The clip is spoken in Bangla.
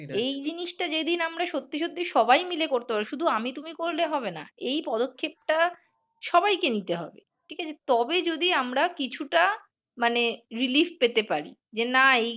এই জিনিসটা যেদিন আমরা সত্যি সত্যি সবাই মিলে করতে পারব শুধু আমি তুমি করলে হবে না। এই পদক্ষেপটা সবাইকে নিতে হবে, ঠিক আছে? তবেই যদি আমরা কিছুটা মানে relief পেতে পারি। যে না এই